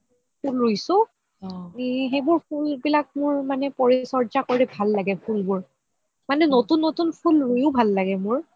ফুল ৰুইছো সেইবোৰ ফুল বিলাক মোৰ পৰিচৰ্চা কৰি মোৰ ভাল লাগে ফুল বোৰ মানে নতুন নতুন ফুল ৰুইয়ো ভাল লাগে মোৰ